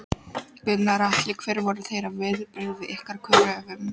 Gunnar Atli: Hver voru þeirra viðbrögð við ykkar kröfum?